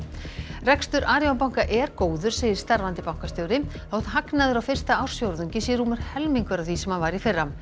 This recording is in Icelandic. rekstur Arion banka er góður segir starfandi bankastjóri þótt hagnaður á fyrsta ársfjórðungi sé rúmur helmingur af því sem hann var í fyrra